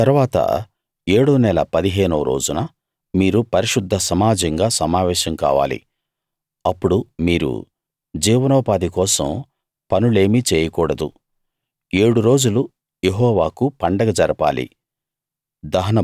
ఆ తరవాత ఏడో నెల 15 వ రోజున మీరు పరిశుద్ధ సమాజంగా సమావేశం కావాలి అప్పుడు మీరు జీవనోపాధి కోసం పనులేమీ చేయకూడదు ఏడు రోజులు యెహోవాకు పండగ జరపాలి